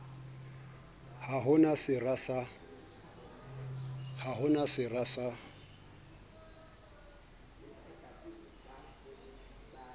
ha ho na sera sa